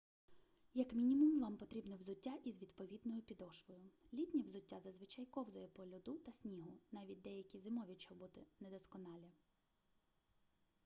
як мінімум вам потрібне взуття із відповідною підошвою літнє взуття зазвичай ковзає по льоду та снігу навіть деякі зимові чоботи недосконалі